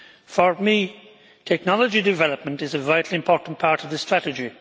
For me, technology development is a vitally important part of the strategy.